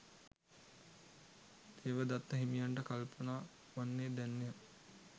දේවදත්ත හිමියන්ට කල්පනා වන්නේ දැන්ය.